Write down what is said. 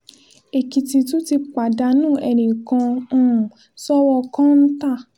èkìtì tún ti pàdánù ẹnì kan um sọ́wọ́ kọ́ńtà